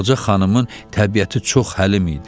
Ağca xanımın təbiəti çox həlim idi.